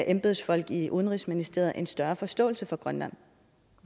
embedsfolk i udenrigsministeriet en større forståelse for grønland